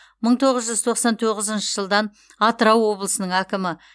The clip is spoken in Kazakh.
мың тоғыз жүз тоқсан тоғызыншы жылдан атырау облысының әкімі